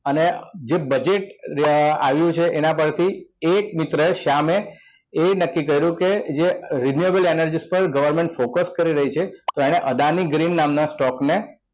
અને જે budget જે આવે છે એના પરથી એક મિત્રએ શ્યામ એ નક્કી કર્યું કે જે renewable energy પર government focus કરી રહી છે તો એને અદાની green નામના stock ને